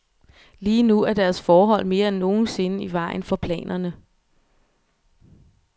Lige nu er deres forhold mere end nogen sinde i vejen for planerne.